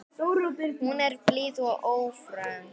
Hún er blíð og ófröm.